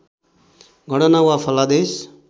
गणना वा फलादेश